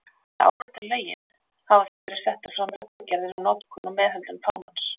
Til að árétta lögin hafa því verið settar fram reglugerðir um notkun og meðhöndlun fánans.